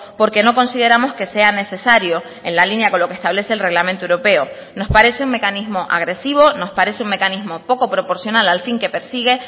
porque no consideramos que sea necesario en la línea con lo que establece el reglamento europeo nos parece un mecanismo agresivo nos parece un mecanismo poco proporcional al fin que persigue